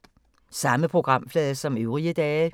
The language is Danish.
Samme programflade som øvrige dage